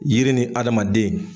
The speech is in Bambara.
Yiri ni adamaden.